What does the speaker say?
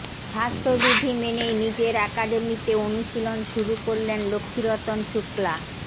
স্বাস্থ্যবিধি মেনেই নিজের অ্যাকাডেমিতে অনুশীলন শুরু করলেন লক্ষ্মীরতন শুক্লা